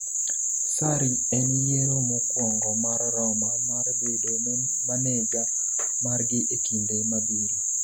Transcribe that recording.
Sarri en yiero mokwongo mar Roma mar bedo maneja margi e kinde mabiro